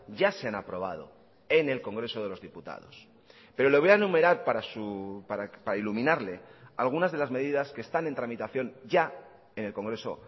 ya se han aprobado en el congreso de los diputados pero le voy a enumerar para iluminarle algunas de las medidas que están en tramitación ya en el congreso